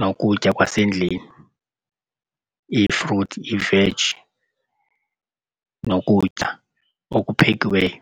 nokutya kwasendlini iifruthi, iiveji nokutya okuphekiweyo.